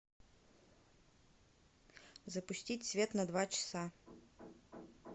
запустить свет на два часа